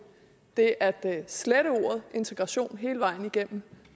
det at slette ordet integration hele vejen igennem